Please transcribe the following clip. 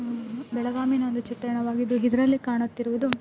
ಬೆಳಗಾವಿನ್ ಒಂದು ಚಿತ್ರಣವಾಗಿದೆ ಇದ್ರಲ್ಲಿ ಕಾಣುತಿರುವುದು --